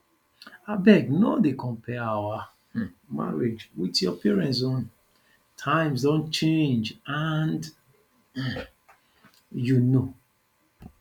abeg no dey compare our um marriage with your parents own times don change and um you know